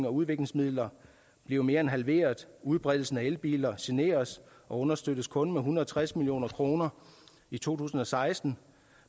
og udviklingsmidler bliver mere end halveret udbredelsen af elbiler generes og understøttes kun med en hundrede og tres million kroner i to tusind og seksten